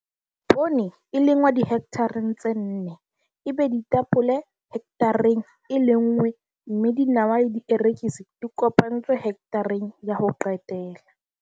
Poone e lengwa dihekthareng tse nne, ebe ditapole hekthareng e lenngwe mme dinawa le dierekisi di kopantswe hekthareng ya ho qetela.